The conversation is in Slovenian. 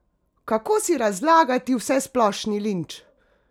Kako si razlagati vsesplošni linč?